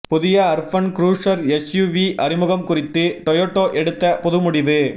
புதிய Urban Cruiser SUV அறிமுகம் குறித்து டொயோட்டா எடுத்த புது முடிவு